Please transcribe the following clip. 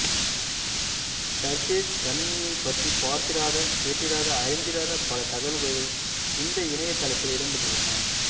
surface கணினியைப் பற்றி பார்த்திராத கேட்டிராத அறிந்திராத பல தகவல்கள் இந்த இணையத்தளத்தில் இடம் பெற்றுள்ளன